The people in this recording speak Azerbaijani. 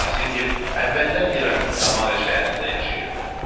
Yasingil əvvəllər İraqın Samara şəhərində yaşayırdı.